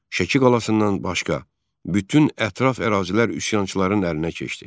Şəki qalasından başqa bütün ətraf ərazilər üsyançıların əlinə keçdi.